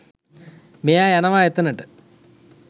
මෙයා යනවා එතැනට